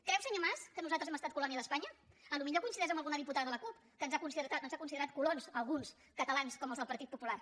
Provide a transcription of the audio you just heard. creu senyor mas que nosaltres hem estat colònia d’espanya potser coincideix amb alguna diputada de la cup que ens ha considerat colons a alguns catalans com els del partit popular